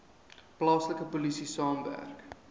plaaslike polisie saamwerk